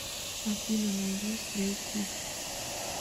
афина найди стрэй кидс